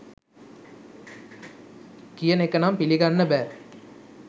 කියන එක නම් පිළිගන්න බෑ